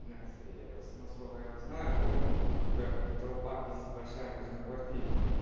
насколько я знаю помню когда вот рукопись большая даже на квартире